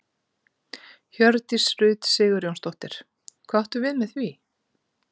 Hjördís Rut Sigurjónsdóttir: Hvað áttu við með því?